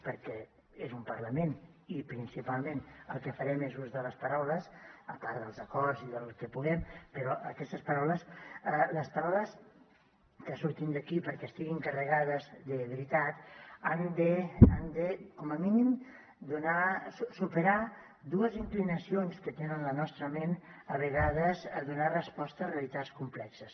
perquè és un parlament i principalment el que farem és ús de les paraules a part dels acords i del que puguem però aquestes paraules les paraules que surtin d’aquí perquè estiguin carregades de veritat han de com a mínim superar dues inclinacions que té la nostra ment a vegades a donar resposta a realitats complexes